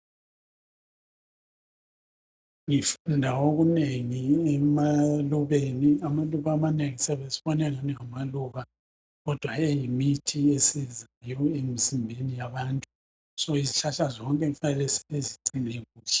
Ngifunda okunengi emalubeni amaluba amanengi siyabe sibona angani ngamaluba kodwa eyimithi esizayo emzimbeni yabantu ngakho izihlahla zonke kufanele sizigcine kuhle.